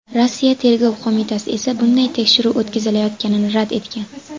Rossiya Tergov qo‘mitasi esa bunday tekshiruv o‘tkazilayotganini rad etgan .